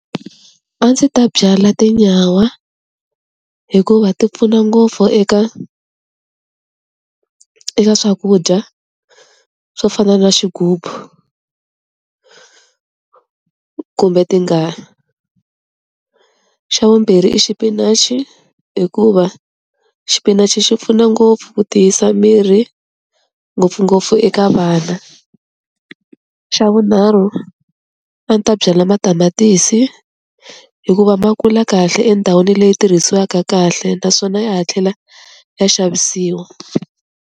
A ndzi ta byala tinyawa hikuva ti pfuna ngopfu eka eka swakudya swo fana na xigubu, kumbe ti nga, xa vumbirhi i xipinachi hikuva xipinachi xi pfuna ngopfu ku tiyisa miri ngopfungopfu eka vana, xa vunharhu a ni ta byala matamatisi hikuva ma kula kahle endhawini leyi tirhisiwaka kahle naswona ya ha tlhela ya xavisiwa.